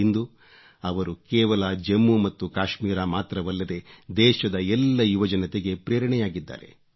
ಇಂದು ಅವರು ಕೇವಲ ಜಮ್ಮು ಮತ್ತು ಕಾಶ್ಮೀರ ಮಾತ್ರವಲ್ಲದೆ ದೇಶದ ಎಲ್ಲ ಯುವ ಜನತೆಗೆ ಪ್ರೇರಣೆಯಾಗಿದ್ದಾರೆ